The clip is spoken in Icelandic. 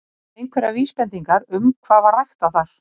Eru einhverjar vísbendingar um hvað var ræktað þar?